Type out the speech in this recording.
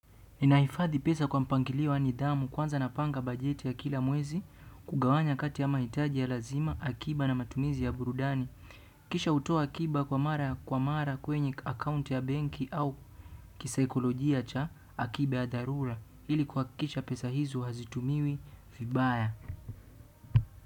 Ninahifadhi pesa kwa mpangilio wa nidhamu kwanza napanga bajeti ya kila mwezi kugawanya kati ya mahitaji ya lazima akiba na matumizi ya burudani. Kisha hutoa akiba kwa mara kwenye akaunti ya benki au kisaikolojia cha akiba ya dharura. Hili kuhakisha pesa hizo hazitumiwi vibaya.